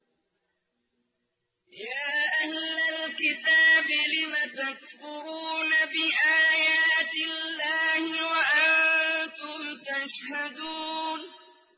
يَا أَهْلَ الْكِتَابِ لِمَ تَكْفُرُونَ بِآيَاتِ اللَّهِ وَأَنتُمْ تَشْهَدُونَ